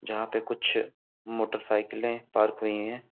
जहाँ पे कुछ मोटरसाईंकलें पार्क हुई हैं।